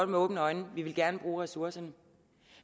med åbne øjne vi ville gerne bruge ressourcerne